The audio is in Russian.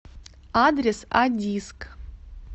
адрес а диск